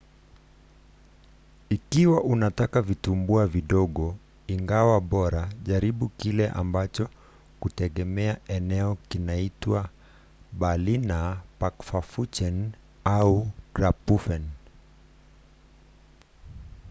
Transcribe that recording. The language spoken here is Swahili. ikiwa unataka vitumbua vidogo ingawa bora jaribu kile ambacho kutegemea eneo kinaitwa berliner pfannkuchen au krapfen